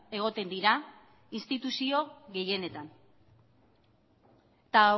egoten dira instituzio gehienetan eta